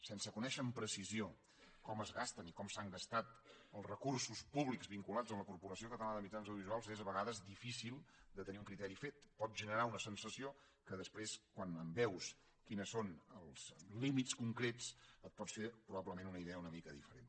sense conèixer amb precisió com es gasten i com s’han gastat els recursos públics vinculats a la corporació catalana de mitjans audiovisuals és a vegades difícil de tenir un criteri fet pot generar una sensació que després quan veus quins són els límits concrets et pots fer probablement una idea una mica diferent